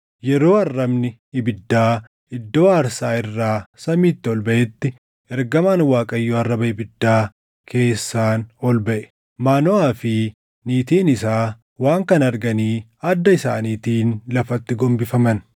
Yeroo arrabni ibiddaa iddoo aarsaa irraa samiitti ol baʼetti ergamaan Waaqayyoo arraba ibiddaa keessaan ol baʼe. Maanoʼaa fi niitiin isaa waan kana arganii adda isaaniitiin lafatti gombifaman.